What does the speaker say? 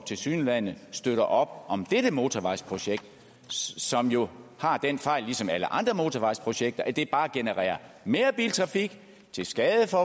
tilsyneladende støtter op om dette motorvejsprojekt som jo har den fejl ligesom alle andre motorvejsprojekter at det bare genererer mere biltrafik til skade for